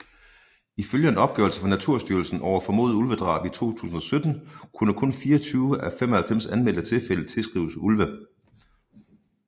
Ifølge en opgørelse fra Naturstyrelsen over formodede ulvedrab i 2017 kunne kun 24 af 95 anmeldte tilfælde tilskrives ulve